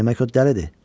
Demək o dəlidir.